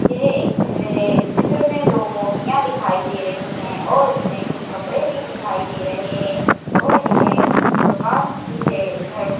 यह एक चित्र है इस चित्र में दो मूर्तियां दिखाई दे रही हैं और इसमें कुछ कपड़े भी दिखाई दे रहे हैं और यह दुकान भी है घर--